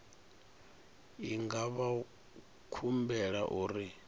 i nga vha humbela uri